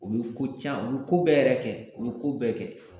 U be ko can , u be ko bɛɛ yɛrɛ kɛ. U be ko bɛɛ kɛ.